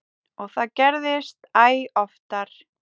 Og það gerðist æ oftar.